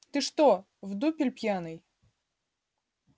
ты что в дупель пьяный